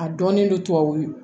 A dɔnnen don tubabu nɔgɔ